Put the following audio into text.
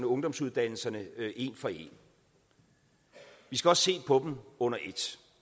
ungdomsuddannelserne en for en vi skal også se på dem under et